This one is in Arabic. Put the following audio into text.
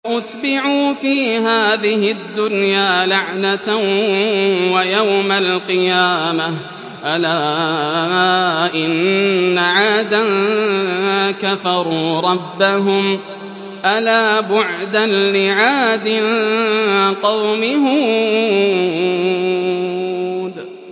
وَأُتْبِعُوا فِي هَٰذِهِ الدُّنْيَا لَعْنَةً وَيَوْمَ الْقِيَامَةِ ۗ أَلَا إِنَّ عَادًا كَفَرُوا رَبَّهُمْ ۗ أَلَا بُعْدًا لِّعَادٍ قَوْمِ هُودٍ